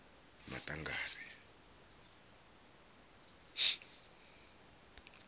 maṱangari